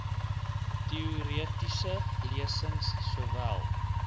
teoretiese lesings sowel